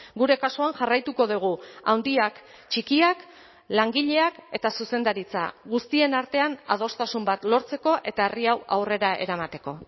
gure kasuan jarraituko dugu handiak txikiak langileak eta zuzendaritza guztien artean adostasun bat lortzeko eta herri hau aurrera eramateko